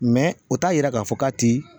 o t'a yira k'a fɔ k'a ti